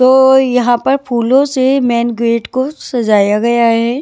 तो यहाँ पर फूलों से मेन गेट को सजाया गया है।